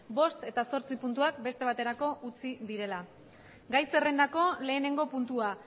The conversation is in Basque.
bost eta zortzi puntuak beste baterako utzi dira gai zerrendako lehenengo puntua